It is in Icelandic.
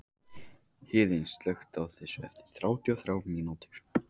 Héðinn, slökktu á þessu eftir þrjátíu og þrjár mínútur.